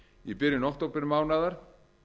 í byrjun októbermánaðar